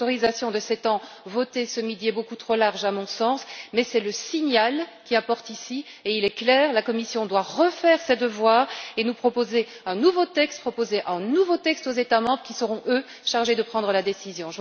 L'autorisation de sept ans votée ce midi est beaucoup trop large à mon sens, mais c'est le signal qui importe ici, et il est clair que la Commission doit refaire ses devoirs et nous proposer un nouveau texte, proposer un nouveau texte aux États membres qui seront, eux, chargés de prendre la décision.